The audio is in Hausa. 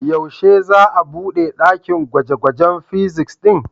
Yaushe za'a bude ɗakin gwaje-gwajen fizics ɗin?